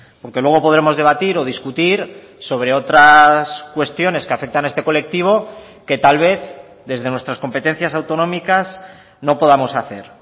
aunque luego podremos debatir o discutir sobre otras cuestiones que afectan a este colectivo que tal vez desde nuestras competencias autonómicas no podamos hacer